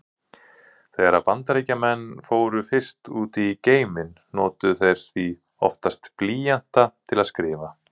Þegar Bandaríkjamenn fóru fyrst út í geiminn notuðu þeir því oftast blýanta til að skrifa.